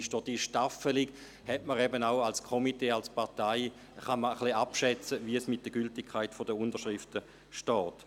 Durch die Staffelung kann man als Komitee oder Partei ungefähr abschätzen, wie es mit der Gültigkeit der Unterschriften steht.